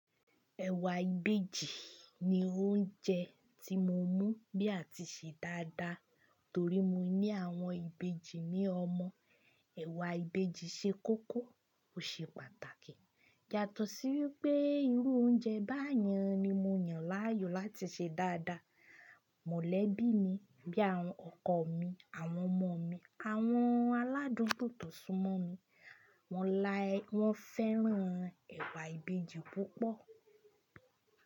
Ẹ̀wà Ìbejì ni oúnjẹ tí mo mú ní a ti ṣe dáadáa torí mo ní àwọn Ìbejì ní ọmọ. Ẹ̀wà Ìbejì ṣe kókó ó ṣe pàtàkì yàtọ̀ sí wípé irú oúnjẹ báyẹn ni mo yàn láàyò láti ṣe dáadáa. Mọ̀lẹ́bí mi bíi àwọn ọkọ mi, àwọn ọmọ mi, àwọn aládùn tó tọ̀ súnmọ́ mi wọ́n láí, wọ́n fẹ́ràn ẹ̀wà Ìbejì púpọ̀.